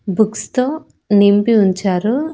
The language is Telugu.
బుక్స్ తో నింపి ఉంచారు.